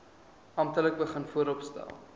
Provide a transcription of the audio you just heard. amptelik begin vooropstel